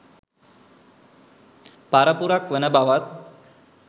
පරපුරක් වන බවත්.